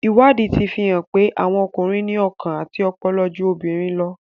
Ìwádìí ti fi hàn pé, àwọn ọkùnrin ní ọkàn àti ọpọlọpọ ju obìnrin lọ.